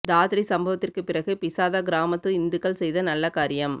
தாத்ரி சம்பவத்திற்கு பிறகு பிசாதா கிராமத்து இந்துக்கள் செய்த நல்ல காரியம்